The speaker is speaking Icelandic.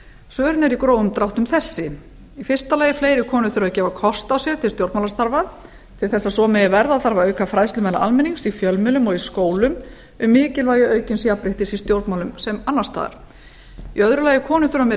svörin eru í grófum dráttum þessi fyrsti fleiri konur þurfa að gefa kost á sér til stjórnmálastarfa til þess að svo megi verða þarf að fræðslu meðal almennings í fjölmiðlum og í skólum um mikilvægi aukins jafnréttis í stjórnmálum sem annars staðar annars konur þurfa meiri